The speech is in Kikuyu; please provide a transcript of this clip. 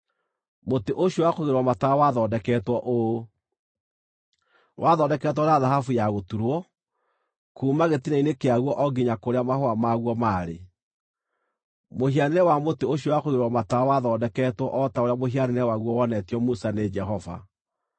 Mũtĩ ũcio wa kũigĩrĩrwo matawa wathondeketwo ũũ: wathondeketwo na thahabu ya gũturwo, kuuma gĩtina-inĩ kĩaguo o nginya kũrĩa mahũa maguo maarĩ. Mũhianĩre wa mũtĩ ũcio wa kũigĩrĩrwo matawa wathondeketwo o ta ũrĩa mũhianĩre waguo wonetio Musa nĩ Jehova.